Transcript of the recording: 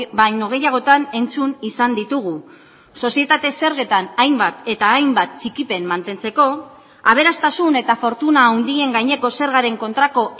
baino gehiagotan entzun izan ditugu sozietate zergetan hainbat eta hainbat txikipen mantentzeko aberastasun eta fortuna handien gaineko zergaren kontrako